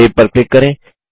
save पर click करें